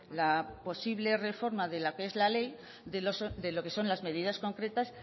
la posible reforma de lo que es la ley de lo que son las medidas concretas